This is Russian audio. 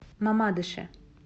мамадыше